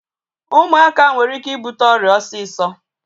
Ụmụaka nwere ike ịbute ọrịa osisọ